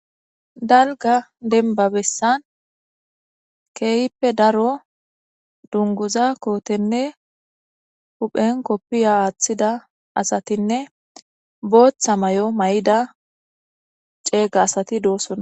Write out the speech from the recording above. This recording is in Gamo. Dalgga denbba bessan kehippe darro dunguzza kottenne huphen kopiya wothida asata be'ss botha mayoo mayidda cegga assati dossona.